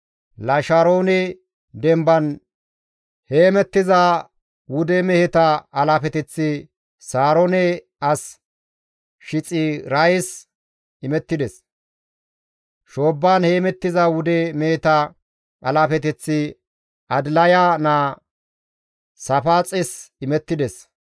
Lasharoone demban heemettiza wude meheta alaafeteththi Saaroone as Shiixirayas imettides; shoobban heemettiza wude meheta alaafeteththi Adilaya naa Saafaaxes imettides.